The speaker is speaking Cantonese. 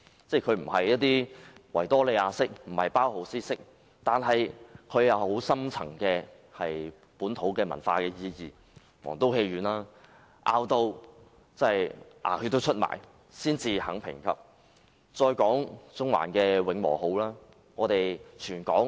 儘管不屬於維多利亞式、包豪斯式建築，但這些建築物卻具有深層的本土文化意義，例如皇都戲院，經各方拼命爭取當局才肯予以評級。